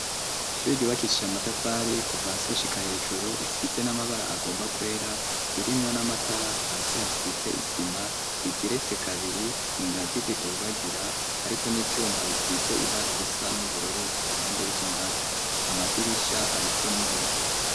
Ishuri ryubakishije amatafari kuva hasi gushika hejuru isize n'amabara agomba kwera ririmwo n'amatara hasi hasize isima rigeretse kabiri ingazi zidugagira ariko n'ivyuma bisize ibara risa n’ubururu iruhande y'izo ngazi amadirisha ariko n'ibiyo.